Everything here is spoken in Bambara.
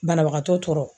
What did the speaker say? Banabagatɔ tɔɔrɔ